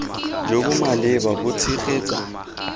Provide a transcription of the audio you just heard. jo bo maleba bo tshegetsa